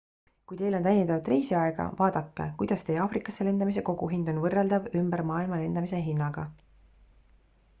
kui teil on täiendavat reisiaega vaadake kuidas teie aafrikasse lendamise koguhind on võrreldav ümber maailma lendamise hinnaga